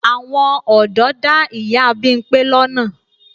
Àwọn ọ̀dọ́ dá ìyá Bímpé lọ́nà.